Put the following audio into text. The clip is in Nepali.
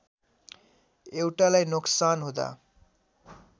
एउटालाई नोक्सान हुँदा